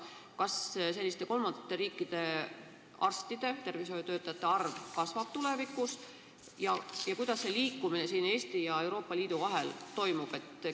Kas kolmandate riikide tervishoiutöötajate arv kasvab tulevikus ja milline liikumine üldse Eesti ja Euroopa Liidu vahel toimub?